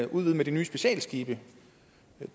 udvide med de nye specialskibe